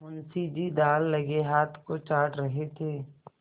मुंशी जी दाललगे हाथ को चाट रहे थे